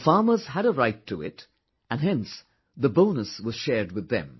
The farmers had a right to it and hence the bonus was shared with them